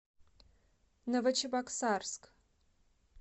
новочебоксарск